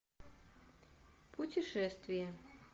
путешествие